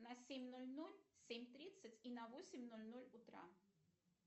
на семь ноль ноль семь тридцать и на восемь ноль ноль утра